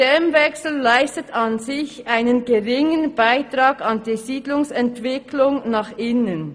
«Der Systemwechsel leistet an sich einen geringen Beitrag an die Siedlungsentwicklung nach innen.»